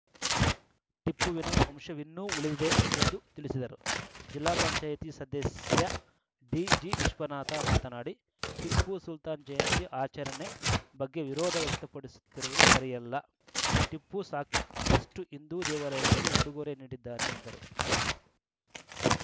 ಟಿಪ್ಪುವಿನ ವಂಶವಿನ್ನೂ ಉಳಿದಿದೆ ಎಂದು ತಿಳಿಸಿದರು ಜಿಲ್ಲಾ ಪಂಚಾಯತ್ ಸದಸ್ಯ ಡಿಜಿವಿಶ್ವನಾಥ ಮಾತನಾಡಿ ಟಿಪ್ಪು ಸುಲ್ತಾನ್‌ ಜಯಂತಿ ಆಚರಣೆ ಬಗ್ಗೆ ವಿರೋಧ ವ್ಯಕ್ತಪಡಿಸುತ್ತಿರುವುದು ಸರಿಯಲ್ಲ ಟಿಪ್ಪು ಸಾಕಷ್ಟುಹಿಂದೂ ದೇವಾಲಯಗಳಿಗೆ ಉಡುಗೊರೆ ನೀಡಿದ್ದಾನೆ ಎಂದರು